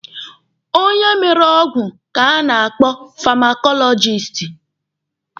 Onye mere ọgwụ ka a na-akpọ famakọlọjisti.